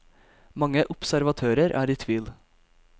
Mange observatører er i tvil.